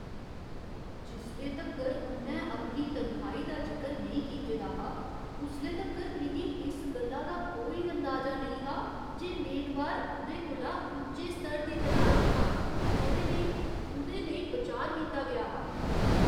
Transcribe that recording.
जिसले तक्कर उ'न्नै अपनी तनखाही दा जिकर नेईं कीते दा हा, उसले तक्कर मिगी इस गल्ला दा कोई अंदाजा नेईं हा जे मेदवार उ'दे कोला उच्चे स्तर दी तलाश च हा जेह्‌दे लेई उ'दे लेई बिचार कीता गेआ हा।